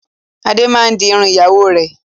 Adé máa ń di irun ìyàwó rẹ̀.